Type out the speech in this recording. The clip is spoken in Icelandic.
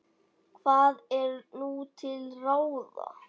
Hvað er nú til ráða?